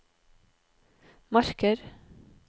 marker